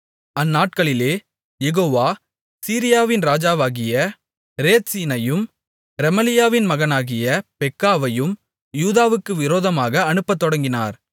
அந்நாட்களிலே யெகோவா சீரியாவின் ராஜாவாகிய ரேத்சீனையும் ரெமலியாவின் மகனாகிய பெக்காவையும் யூதாவுக்கு விரோதமாக அனுப்பத்தொடங்கினார்